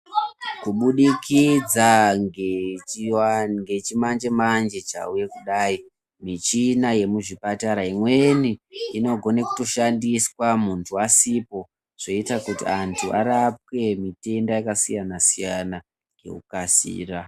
Kubudikidza ngechimanje-manje chauye kudai, michina yekuzvipatara imweni inogone kutoshandiswa muntu asipo, zvoita kuti antu arapwe mitenda yakasiyana -siyana ngekukasira.